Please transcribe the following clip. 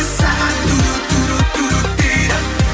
сағат дейді